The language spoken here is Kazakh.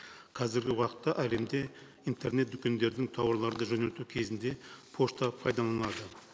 қазіргі ауақытта әлемде интернет дүкендердің тауарларды жөнелту кезінде пошта пайдаланады